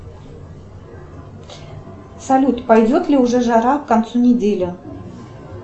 салют пойдет ли уже жара к концу недели